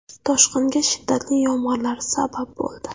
Toshqinga shiddatli yomg‘irlar sabab bo‘ldi.